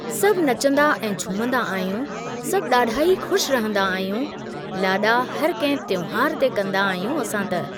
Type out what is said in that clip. सभु नचंदा ऐं झूमंदा आहियूं, सभु ॾाढा ई खु़शि रहंदा आहियूं, लाॾा हर कहिं त्योहारु ते कंदा आहियूं असां त ।